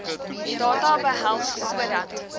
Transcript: data behels sodat